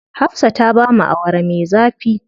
Hafsa ta bamu Awara me zafi.